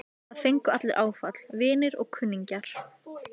Það fengu allir áfall, vinir og kunningjar.